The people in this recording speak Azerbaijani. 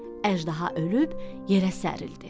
Əjdaha ölüb yerə sərildi.